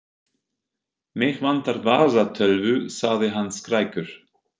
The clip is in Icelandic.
Mig vantar vasatölvu, sagði hann skrækur.